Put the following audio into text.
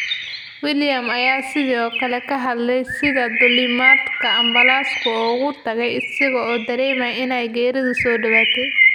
Williams ayaa sidoo kale ka hadlay sida duulimaadka ambalaasku uga tagay isaga oo dareemaya in ay geeridu soo dhawaatay.